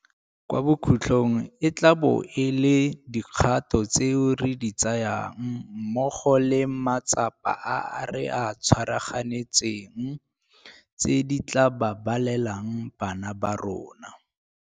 Kwa bokhutlong e tla bo e le dikgato tseo re di tsayang mmogo le matsapa a re a tshwaraganetseng tse di tla babalelang bana ba rona.